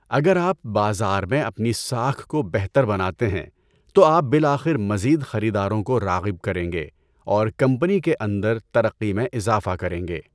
اگر آپ بازار میں اپنی ساکھ کو بہتر بناتے ہیں تو آپ بالآخر مزید خریداروں کو راغب کریں گے اور کمپنی کے اندر ترقی میں اضافہ کریں گے۔